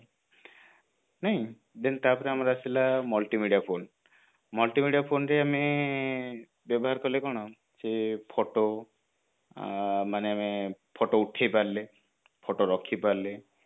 ଠେଁ ତାପରେ ଆମର ଆସିଲା multimedia phone multimedia phone ରେ ଆମେ ବ୍ୟବହାର କଲେ କଣ ସେଇ photo ମାନେ photo ଉଠେଇ ପାରିଲେ photo ରଖି ପାରିଲେ